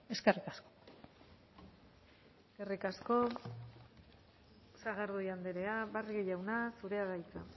eskerrik asko eskerrik asko sagardui andrea barrio jauna zurea da hitza